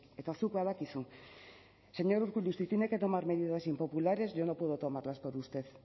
eta zuk badakizu señor urkullu si tiene que tomar medidas impopulares yo no puedo tomarlas por usted